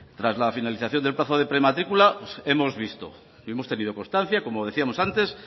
tras la finalización del plazo de prematricula hemos visto y hemos tenido constancia como decíamos antes